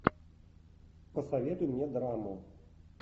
посоветуй мне драму